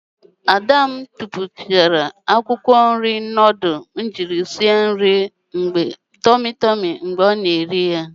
Ada m tupuchara akwukwo nri m jiri sie nudul tomi tomi mgbe ọ na-eri ya.